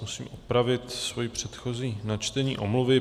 Zkusím opravit své předchozí načtení omluvy.